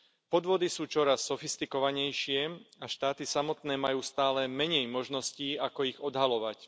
Podvody sú čoraz sofistikovanejšie a štáty samotné majú stále menej možností ako ich odhaľovať.